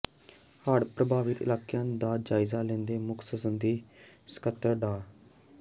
ਹੜ੍ਹ ਪ੍ਰਭਾਵਿਤ ਇਲਾਕਿਆਂ ਦਾ ਜਾਇਜ਼ਾ ਲੈਂਦੇ ਮੁੱਖ ਸੰਸਦੀ ਸਕੱਤਰ ਡਾ